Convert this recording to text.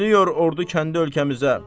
Dönür ordu kəndi ölkəmizə.